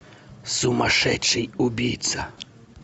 сумасшедший убийца